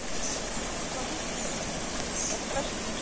Síðan er gengið frá mittisólinni, og presturinn segir